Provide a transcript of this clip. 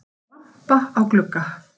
Sá glampa á glugga